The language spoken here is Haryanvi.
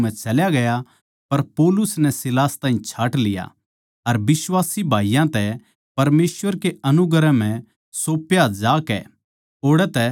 पर पौलुस नै सीलास ताहीं छाँट लिया अर बिश्वासी भाईयाँ तै परमेसवर कै अनुग्रह म्ह सौंप्या जाकै ओड़ै तै चल्या गया